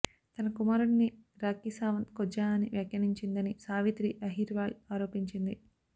తన కుమారుడిని రాఖీ సావంత్ కొజ్జా అని వ్యాఖ్యానించిందని సావిత్రి అహిర్వాల్ ఆరోపించింది